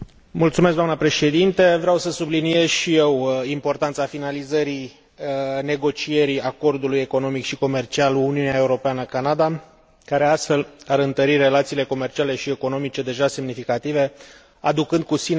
Vreau să subliniez și eu importanța finalizării negocierii acordului economic și comercial Uniunea Europeană Canada, care, astfel, ar întări relațiile comerciale și economice deja semnificative, aducând cu sine efecte benefice.